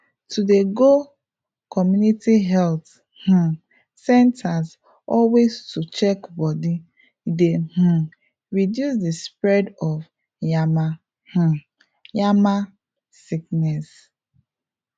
to dey go community health um centres always to check body dey um reduce di spread of yama um yama sickness